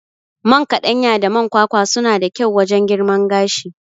Man kaɗanya da man kwakwa suna da kyau wajan girman gashi